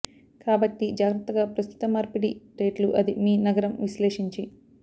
కాబట్టి జాగ్రత్తగా ప్రస్తుత మార్పిడి రేట్లు అది మీ నగరం విశ్లేషించి